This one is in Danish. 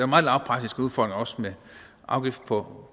meget lavpraktisk udfordring også med afgift på